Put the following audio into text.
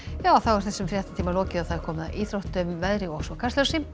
þessum fréttatíma er lokið og komið að íþróttum veðri og Kastljósi